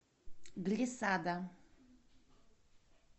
глиссада